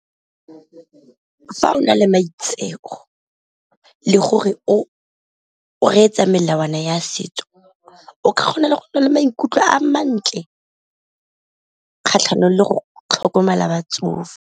Fa o na le maitseo le gore o reetsa melawana ya setso o kgona le go na le maikutlo a mantle, kgatlhanong le go tlhokomela batsofe.